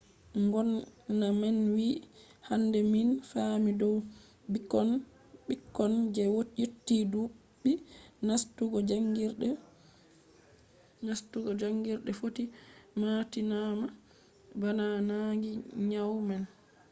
ngomna man wi'i hande min faami dow ɓikkon je yotti ɗuɓɓi nastugo jaangirde footi matinama bana nangi nyau man.